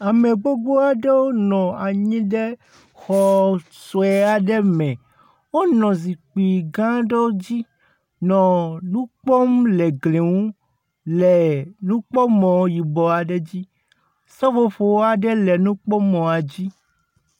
Ame gbogbo aɖewo nɔ anyi ɖe xɔ sue aɖe me. Wo nɔ zikpui gã aɖewo dzi, nɔ nukpɔm le gli nu le nukpɔmɔ yibɔ aɖe dzi. Seƒoƒo aɖe le nukpɔmɔa dzi